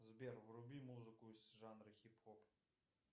сбер вруби музыку из жанра хип хоп